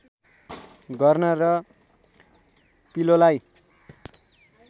गर्न र पिलोलाई